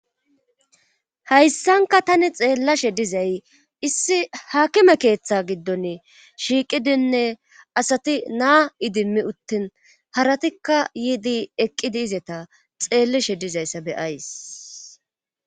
hayssanka tani xeellashe dizay issi haakime keeththa giddon shiiqidinne asati naa idimmi uttin haratikka yiidi eqqidi izeta xeellishe dizayssa beyays